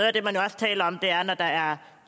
af det man også taler om er at det når der er